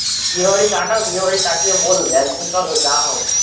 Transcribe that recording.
বিয়ে বাড়ি কাটাও বিয়ে বাড়ি কাটিয়ে বলবে একদিন চলো যাওয়া হোক